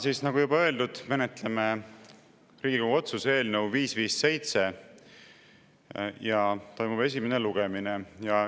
Täna, nagu juba öeldud, menetleme Riigikogu otsuse eelnõu 557 ja toimub selle esimene lugemine.